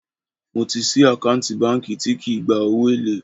Mo ti sì àkáǹtì báńkì tí kì í gba owó èlé